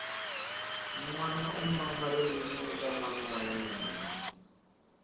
nwana u mama ririmi eka mana wa yemna